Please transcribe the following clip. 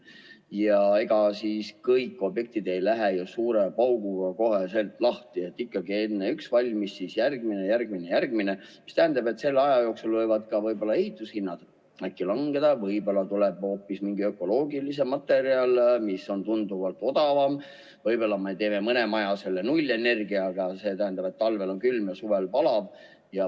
Ja ega siis kõik objektid ei lähe ju suure pauguga kohe lahti, ikkagi enne saab üks valmis, siis järgmine, järgmine, järgmine, mis tähendab, et selle aja jooksul võivad ka ehitushinnad äkki langeda, võib-olla tuleb hoopis mingi ökoloogilisem materjal, mis on tunduvalt odavam, võib-olla me teeme mõne maja nullenergiaga, st talvel on külm ja suvel palav.